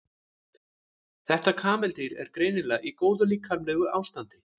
þetta kameldýr er greinilega í góðu líkamlegu ástandi